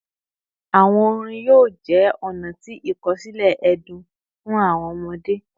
Awọn orin yoo jẹ ọna ti ikosile ẹdun fun awọn ọmọde